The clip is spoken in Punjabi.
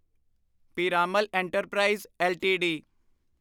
Piramal enterprises LTD